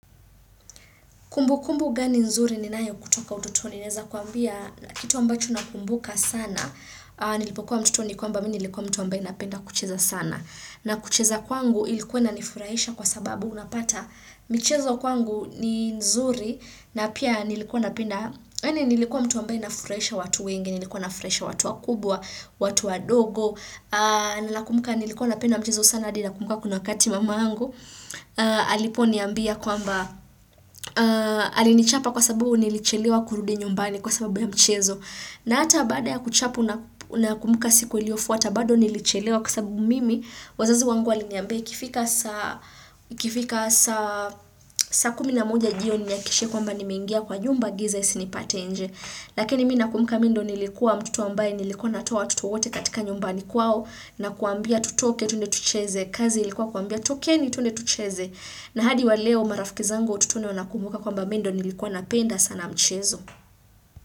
Kumbu kumbu gani nzuri ninayo kutoka utotoni. Naeza kuambia kitu ambacho nakumbuka sana. Nilipokuwa mtoto ni kwamba mimi nilikuwa mtu ambaye napenda kucheza sana. Na kucheza kwangu ilikuwa inanifurahisha kwa sababu. Unapata michezo kwangu ni nzuri. Na pia nilikuwa napenda. Nilikuwa mtu ambaye nafurahisha watu wengi. Nilikuwa nafurahisha watu wakubwa. Watu wadogo. Ninakumbuka nilikuwa napenda mchezo sana. Hadi nakumbuka kuna wakati mamangu. Aliponiambia kwamba. Alinichapa kwa sababu nilichelewa kurud nyumbani kwa sababu ya mchezo na hata baada ya kuchapwa nakumbuka siku iliyofuata bado nilichelewa kwa sababu mimi wazazi wangu waliniambia ikifika saa ikifika saa saa kumi na moja jioni nihakikishe kwamba nimeingia kwa nyumba giza isinipate nje lakini mimi nakumbuka mimi ndo nilikuwa mtoto ambaye nilikuwa natoa watoto wote katika nyumbani kwao na kawaambia tutoke twende tucheze kazi ilikuwa kuambia tokeni twende tucheze na hadi wa leo marafiki zangu wa utoto ndo wanakumbuka kwamba mimi ndo nilikuwa napenda sana mchezo.